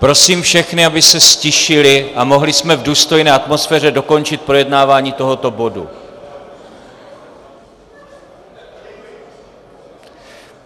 Prosím všechny, aby se ztišili a mohli jsme v důstojné atmosféře dokončit projednávání tohoto bodu.